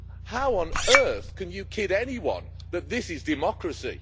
How on earth can you kid anyone that this is democracy?